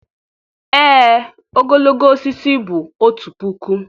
ee ogologo osisi bụ otu puku